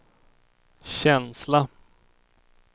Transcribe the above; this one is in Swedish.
känsla